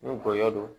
Ni gɔyɔ don